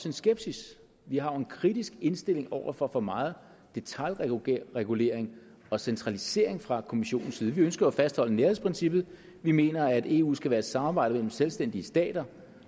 en skepsis vi har jo en kritisk indstilling over for for meget detailregulering og centralisering fra kommissionens side vi ønsker at fastholde nærhedsprincippet vi mener at eu skal være et samarbejde mellem selvstændige stater